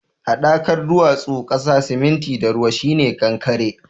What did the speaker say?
Haɗakar duwatsu, ƙasa, siminti da ruwa shi ne kankare.